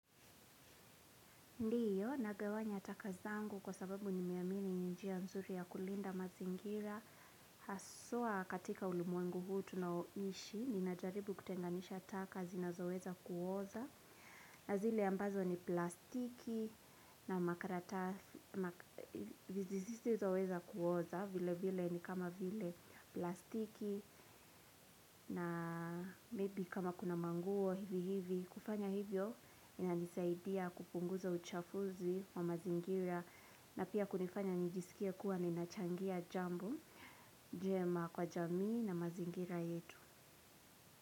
Ndiyo, nagawanya taka zangu kwa sababu nimeamini ni njia nzuri ya kulinda mazingira. Hasa katika ulimwengu huu tunaoishi, ninajaribu kutenganisha taka zinoweza kuoza na zile ambazo ni plastiki na makaratasi zisizoweza kuoza vilevile ni kama vile plastiki na maybe kama kuna manguo hivi hivi hufanya hivyo inanisaidia kupunguza uchafuzi wa mazingira na pia kunifanya nijisikie kuwa ninachangia jambo jema kwa jamii na mazingira yetu.